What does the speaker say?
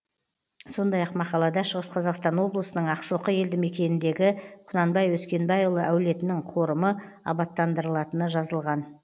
сондай ақ мақалада шығыс қазақстан облысының ақшоқы елді мекеніндегі құнанбай өскенбайұлы әулетінің қорымы абаттандырылатыны жазылған